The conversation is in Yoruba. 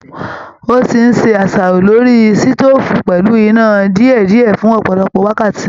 Ó ti ń se àṣàrò lórí sítòfù pẹ́lù iná dìédìẹ́ fun ọpọlọpọ wákàtí.